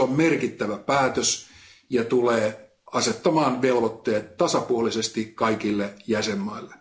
Se on merkittävä päätös ja tulee asettamaan velvoitteet tasapuolisesti kaikille jäsenmaille.